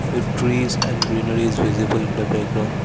the trees and greenery is visible in the background.